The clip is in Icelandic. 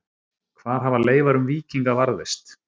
Hvar hafa leifar um víkinga varðveist?